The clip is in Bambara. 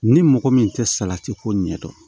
Ni mɔgɔ min tɛ salati ko ɲɛdɔn